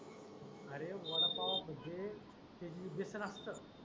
अरे वडा पाव म्हणजे एक व्यसन असत.